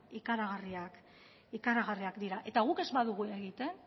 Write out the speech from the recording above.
ikaragarriak dira guk ez badugu egiten